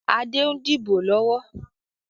Adé ń dìbò lọ́wọ́